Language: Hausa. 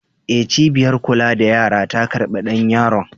E, cibiyar kula da yara ta karɓi ɗan yaron.